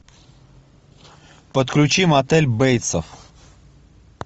подключи мотель бейтсов